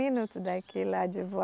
Minutos daqui lá de